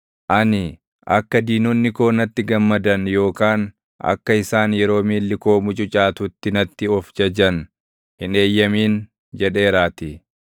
Ani, “Akka diinonni koo natti gammadan yookaan akka isaan yeroo miilli koo mucucaatutti natti of jajan hin eeyyamin” jedheeraatii.